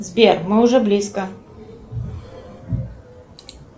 сбер мы уже близко